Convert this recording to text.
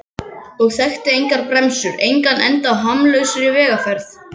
Og þekkti engar bremsur, engan enda á hamslausri vegferð.